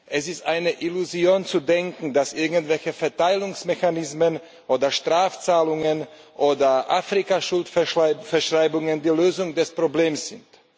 Es ist eine Illusion zu denken, dass irgendwelche Verteilungsmechanismen oder Strafzahlungen oder Afrika Schuldverschreibungen die Lösung des Problems sind.